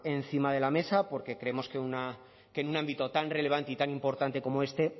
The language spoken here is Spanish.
encima de la mesa porque creemos que en un ámbito tan relevante y tan importante como este